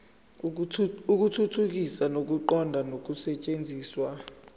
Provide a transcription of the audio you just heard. ukuthuthukisa ukuqonda nokusetshenziswa